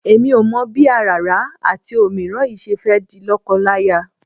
Èmi ò mọ̀ bí àràrá àti òmíràn yìí ṣe fẹ́ di lọ́kọláya.